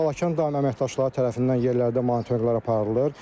Balakən Daimə əməkdaşları tərəfindən yerlərdə monitorinqlər aparılır.